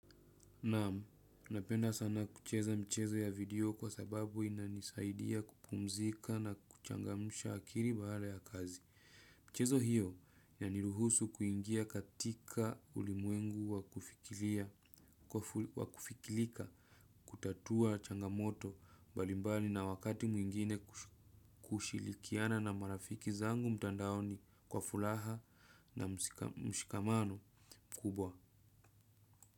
Naamu, napenda sana kucheza mchezo ya video kwa sababu inanisaidia kupumzika na kuchangamusha akili baada ya kazi. Mchezo hiyo yaniruhusu kuingia katika ulimwengu wakufikilika kutatua changamoto balimbali na wakati mwingine kushilikiana na marafiki zangu mtandaoni kwa fulaha na mshikamano kubwa.